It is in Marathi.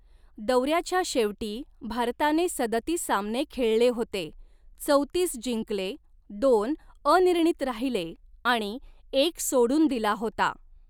दौऱ्याच्या शेवटी, भारताने सदतीस सामने खेळले होते, चौतीस जिंकले, दोन अनिर्णित राहिले, आणि एक सोडून दिला होता.